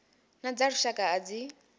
na dza lushaka a dzi